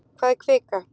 Hvað er kvika?